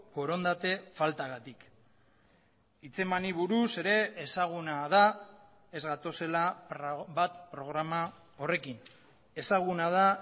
borondate faltagatik hitzemani buruz ere ezaguna da ez gatozela bat programa horrekin ezaguna da